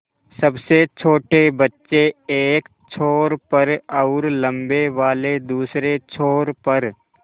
सबसे छोटे बच्चे एक छोर पर और लम्बे वाले दूसरे छोर पर